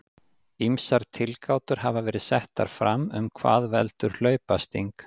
Ýmsar tilgátur hafa verið settar fram um hvað veldur hlaupasting.